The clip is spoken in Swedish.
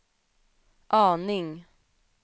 aning